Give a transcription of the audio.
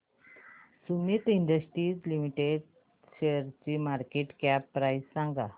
Sumeet industries limited शेअरची market cap price सांगा